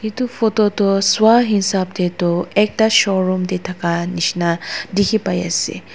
itu photo tu suwa hisab tey tu ekta showroom tey thaka nishina dikhi pai ase.